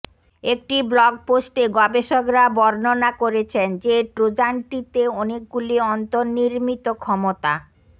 একটি ব্লগ পোস্টে গবেষকরা বর্ণনা করেছেন যে ট্রোজানটিতে অনেকগুলি অন্তর্নির্মিত ক্ষমতা